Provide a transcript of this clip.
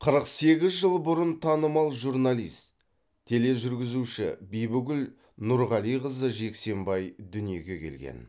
қырық сегіз жыл бұрын танымал журналист тележүргізуші бибігүл нұрғалиқызы жексенбай дүниеге келген